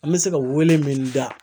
An bɛ se ka wele min da